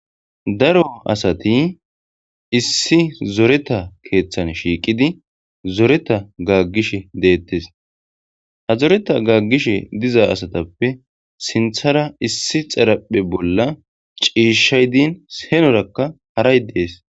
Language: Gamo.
daro asati issi zoreta keeththan shiiqidi zoreta gaaggish deettes ha zoreta gaggish diza asatappe sinthara issi xaraphe bolla ciishay diin henorakka haray dees